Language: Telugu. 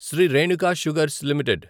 Shri Renuka sugars limited